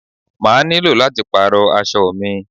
I will have to change my clothes